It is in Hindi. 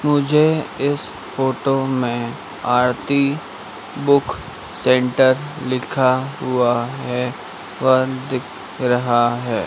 मुझे इस फोटो में आरती बुक सेंटर लिखा हुआ है वह दिख रहा है।